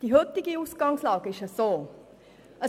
Die heutige Ausgangslage sieht so aus: